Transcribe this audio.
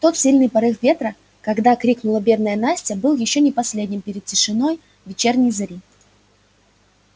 тот сильный порыв ветра когда крикнула бедная настя был ещё не последним перед тишиной вечерней зари